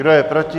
Kdo je proti?